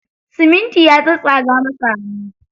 Siminti ya tsatstsaga masa hannu.